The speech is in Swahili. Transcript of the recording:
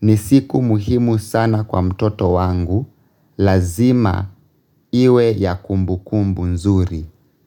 Ni siku muhimu sana kwa mtoto wangu, lazima iwe ya kumbukumbu nzuri.